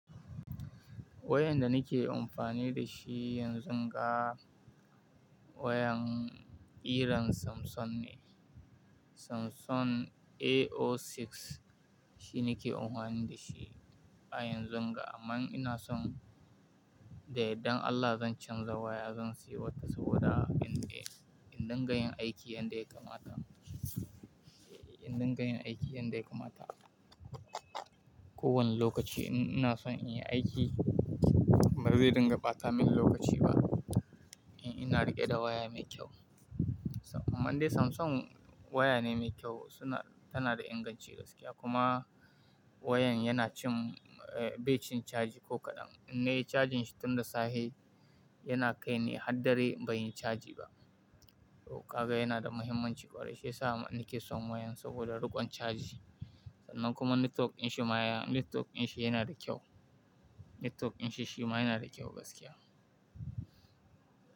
Wayan da nake amfani da shi yanzun ga wayan irin Samsung ne. Samsung A06 shi nake amfani da shi a yanzun ga amma ina son da yadan Allah zan canza waya zan sayi wata saboda in dai, in dinga yin aiki yadda ya kamata, in dinga yin aiki yadda ya kamata. Ko wani lokaci ina son in yi aiki ba zai dinga ɓata min lokaci ba. In ina riƙe da waya mai kyau. Amma dai Samsung waya ne mai kyau suna, tana da inganci gaskiya kuma wayan yana cin, bai cin caji ko kaɗan. In nayi cajin shi tun da safe yana kai ni har dare ban yi caji ba. Kaga yana da muhimmanci ƙwarai shi ya sa nake son wayan saboda riƙon caji sannan kuma netwok in shi ma, netwok in shi yana da kyau. Netwok in shi shi ma yana da kyau gaskiya.